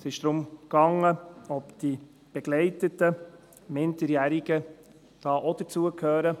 Es ging darum, ob die begleiteten Minderjährigen auch dazu gehören.